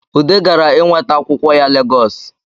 Ude gara inweta akwụkwọ ya Legosi